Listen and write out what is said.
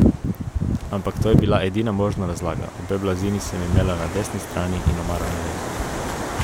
Ampak to je bila edina možna razlaga, obe blazini sem imela na desni strani in omaro na levi.